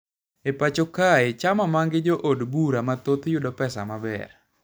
E pacho kae chama mangi jo od bura mathoth yudo pesa maber